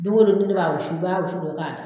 Doŋo don ni ne b'a wusu i b'a wusu dɔ k'a da